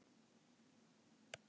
Stærð þeirra er mjög breytileg.